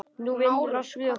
Nú vinnur allt með okkur.